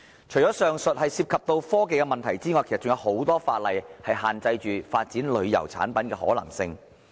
除了上述涉及科技的問題外，其實還有很多法例限制發展旅遊產品的可能性。